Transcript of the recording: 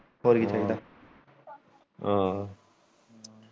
ਹਮ